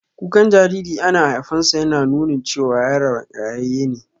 Kukan jariri ana haifansa yana nunin cewa yaron rayayye ne